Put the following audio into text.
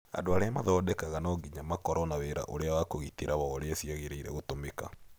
Andũ arĩa mathodekaga no ginya makoro na wĩira ũrĩa wa kũgitĩra wa ũrĩa cĩagĩrĩire gũtũmĩka.